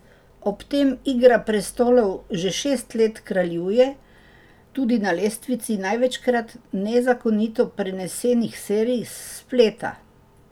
Ob tem Igra prestolov že šest let kraljuje tudi na lestvici največkrat nezakonito prenesenih serij s spleta.